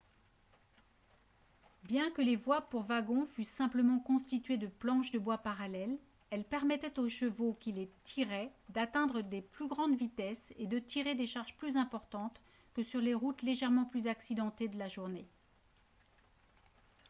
bien que les voies pour wagons fussent simplement constituées de planches de bois parallèles elles permettaient aux chevaux qui les tiraient d'atteindre de plus grandes vitesses et de tirer des charges plus importantes que sur les routes légèrement plus accidentées de la journée